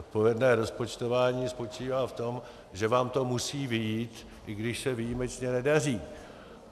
Odpovědné rozpočtování spočívá v tom, že vám to musí vyjít, i když se výjimečně nedaří.